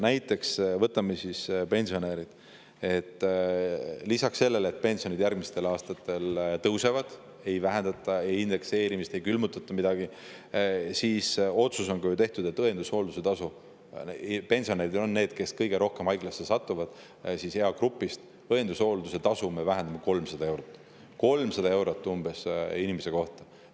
Näiteks võtame pensionärid: lisaks sellele, et pensionid järgmistel aastatel tõusevad, ei vähendata indekseerimist, ei külmutata midagi, on tehtud ka ju otsus, et õendushoolduse tasu – pensionärid satuvad ju kõige rohkem haiglasse, nende eagrupp – me vähendame umbes 300 eurot inimese kohta.